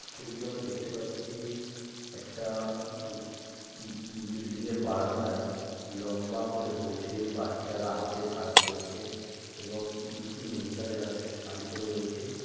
ছবিতে আমরা দেখতে পাচ্ছি একটা ঊঊবব বিল্ডিং এর বারান্দায় লম্বা করে বসে বাচ্চারা হাতের কাজ করছেন এবং দুটি মহিলা যারা শা-শাড়ি পড়ে রয়েছে।